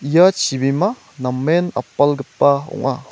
ia chibima namen apalgipa ong·a.